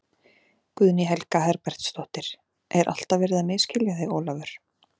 Guðný Helga Herbertsdóttir: Er alltaf verið að misskilja þig Ólafur?